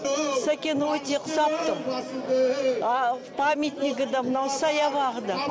сәкен өте ұқсап тұр памятнигі да мынау саябағы да